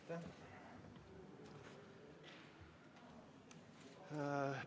Aitäh!